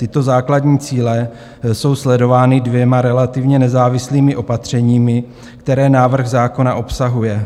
Tyto základní cíle jsou sledovány dvěma relativně nezávislými opatřeními, které návrh zákona obsahuje.